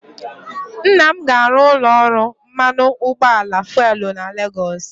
Nna m ga-arụ ụlọ ọrụ mmanụ ụgbọala fuelu na Legọs